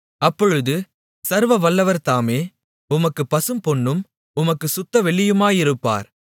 அப்பொழுது சர்வவல்லவர் தாமே உமக்குப் பசும்பொன்னும் உமக்குச் சுத்தவெள்ளியுமாயிருப்பார்